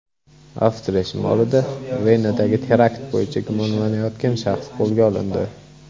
Avstriya shimolida Venadagi terakt bo‘yicha gumonlanayotgan shaxs qo‘lga olindi.